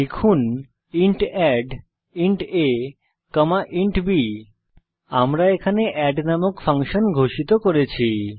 লিখুন ইন্ট addইন্ট a int b আমরা এখানে এড নামক একটি ফাংশন ঘোষিত করেছি